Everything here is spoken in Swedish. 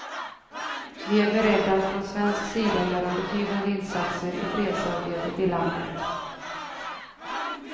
Vi är beredda att från svensk sida göra betydande insatser i fredsarbetet i landet.